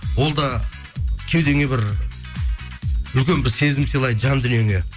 ол да кеудеңе бір үлкен бір сезім сыйлайды жан дүниеңе